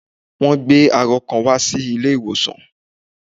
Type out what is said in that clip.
Wọ́n gbé arọ kan wá sí ilé ìwòsàn